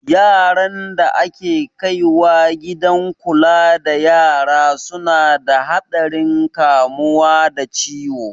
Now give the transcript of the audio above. Yaran da ake kaiwa gidan kula da yara su na da haɗarin kamuwa da ciwo